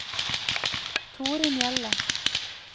Torunn Hjelle